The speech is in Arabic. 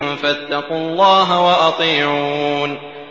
فَاتَّقُوا اللَّهَ وَأَطِيعُونِ